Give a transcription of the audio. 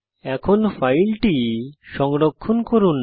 এখন ফাইলটি সংরক্ষণ করুন